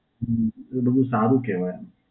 હમ્મ, એ તો બહું સારું કહેવાય.